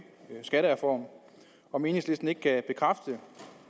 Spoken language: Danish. skattereform og om enhedslisten ikke kan fra